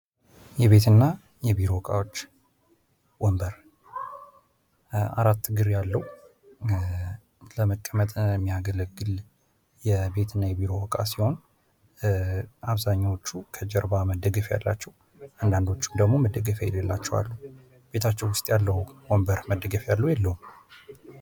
የቤት እና የቢሮ እቃዎች ወንበር አራት እግር ያለው ለመቀምጥ የሚያገለግል የቤት እና የቢሮ እቃ ሲሆን አብዛኞቹ ከጀርባ መደገፊያ ያላችው አንዳንዶቹ ደግሞ መደግፊያ የላላቸው አሉ። ቤታቸው ውስጥ ያለውን ወንበር መደገፊያ አለው የለው?